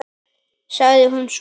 sagði hún svo.